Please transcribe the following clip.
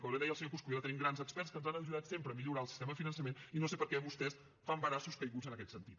com bé deia el senyor coscubiela tenim grans experts que ens han ajudat sempre a millorar el sistema de finançament i no sé per què vostès fan braços caiguts en aquest sentit